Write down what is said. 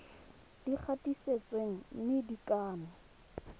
di gatisitsweng mme di kannwe